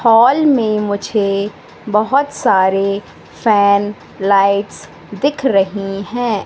Hall में मुझे बहोत सारे फैन लाइट्स दिख रहीं हैं।